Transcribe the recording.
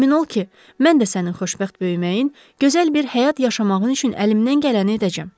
Əmin ol ki, mən də sənin xoşbəxt böyüməyin, gözəl bir həyat yaşamağın üçün əlimdən gələni edəcəm.